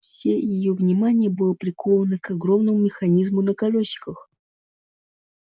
все её внимание было приковано к огромному механизму на колёсиках